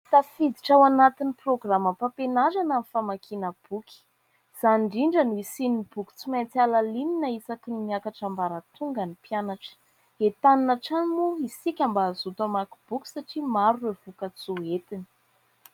Tafiditra ao anatin'ny programam-pampianarana ny famakiana boky, izany indrindra no hisian'ny boky tsy maintsy halalinina isaky ny miakatra ambaratonga ny mpianatra. Entanina hatrany moa isika mba hazoto amaky boky satria maro ireo voka-tsoa entiny.